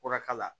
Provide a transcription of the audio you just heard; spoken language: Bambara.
Kɔrɔka la